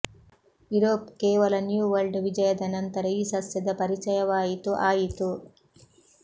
Europe ಕೇವಲ new world ವಿಜಯದ ನಂತರ ಈ ಸಸ್ಯದ ಪರಿಚಯವಾಯಿತು ಆಯಿತು